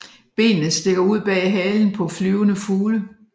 Benene stikker ud bag halen på flyvende fugle